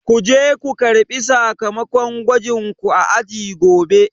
Kuje ko karɓi sakamakon gwajin ku a aji gobe